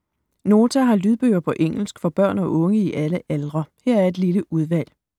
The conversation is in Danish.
Nota har lydbøger på engelsk for børn og unge i alle aldre. Her er et lille udvalg.